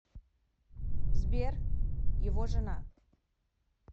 сбер его жена